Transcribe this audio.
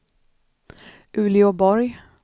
Uleåborg